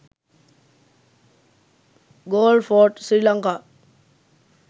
galle fort sri lanka